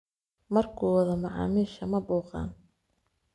Marku wadhoo macamisha mabuuqan.